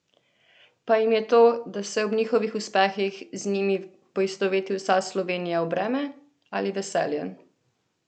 Pa jim je to, da se ob njihovih uspehih z njimi poistoveti vsa Slovenija v breme ali veselje?